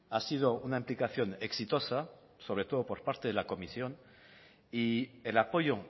ha sido una implicación exitosa sobre todo por parte de la comisión y el apoyo